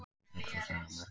Öll sú saga er merkileg.